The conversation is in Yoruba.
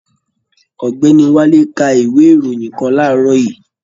Ọ̀gbẹ́ni Wálé ka ìwé ìròyìn kàn laarọ yìí.